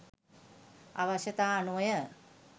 අවශ්‍යතා අනුවය